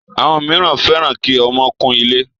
Àwọn míràn fẹ́ràn kí ọmọ kún ilé.